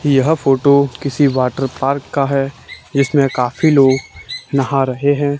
यह फोटो किसी water park का है इसमें काफी लोग नहा रहे हैं।